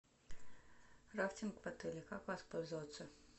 рафтинг в отеле как воспользоваться